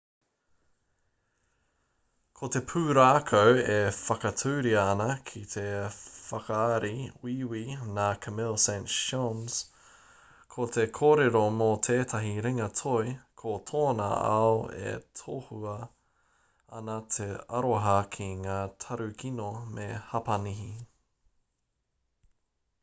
ko te pūrākau e whakaaturia ana ki te whakaari wīwī nā camille saint-saens ko te kōrero mō tētahi ringa toi ko tōna ao e tohua ana e te aroha ki ngā tarukino me hapani